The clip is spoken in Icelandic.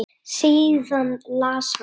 Síðan las hann: